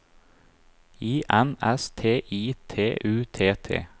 I N S T I T U T T